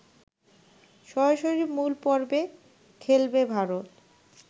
সরাসরি মূল পর্বে খেলবে ভারত